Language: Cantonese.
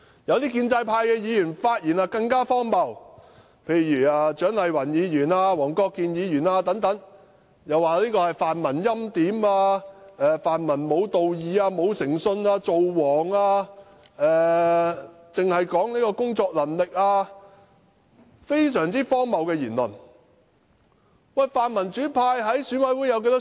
有些建制派議員的發言更加荒謬，例如蔣麗芸議員、黃國健議員等，指稱泛民欽點某候選人、"造王"；又指泛民無道義、無誠信，只談及工作能力；他們的言論非常荒謬。